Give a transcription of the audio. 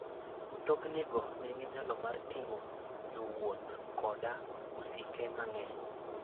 Mtoknigo nigi nyalo mar ting'o jowuoth koda osike mang'eny.